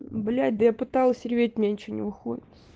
блять да я пыталась реветь у меня ничего не выходит